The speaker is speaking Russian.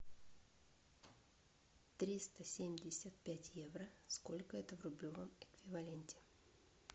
триста семьдесят пять евро сколько это в рублевом эквиваленте